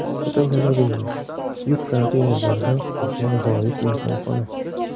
Fotogalereya: Yuk konteynerlaridan qurilgan g‘aroyib mehmonxona.